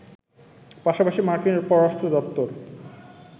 পাশাপাশি মার্কিন পররাষ্ট্র দপ্তর